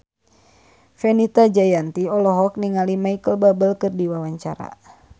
Fenita Jayanti olohok ningali Micheal Bubble keur diwawancara